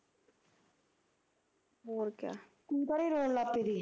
ਤੂੰ ਤਾਂ ਹੀ ਰੋਣ ਲੱਗ ਪਈ ਸੀ ਤੀ ਮੈਂ ਉਹਨੂੰ